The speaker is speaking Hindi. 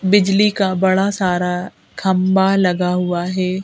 बिजली का बड़ा सारा खंबा लगा हुआ है।